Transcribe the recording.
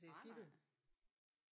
Nej nej